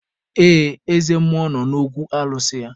Ee, eze mmụọ nọ n'okwu alụsị ya